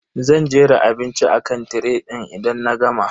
Zan jera abinci akan tiray din idan na gama.